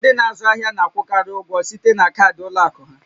Ndị n'azụ ahịa na-akwụkarị ụgwọ site na kaadị ụlọ akụ ha